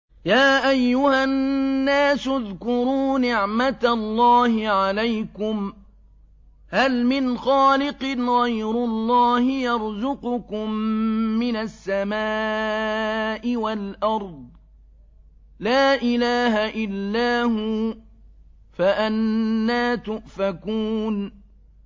يَا أَيُّهَا النَّاسُ اذْكُرُوا نِعْمَتَ اللَّهِ عَلَيْكُمْ ۚ هَلْ مِنْ خَالِقٍ غَيْرُ اللَّهِ يَرْزُقُكُم مِّنَ السَّمَاءِ وَالْأَرْضِ ۚ لَا إِلَٰهَ إِلَّا هُوَ ۖ فَأَنَّىٰ تُؤْفَكُونَ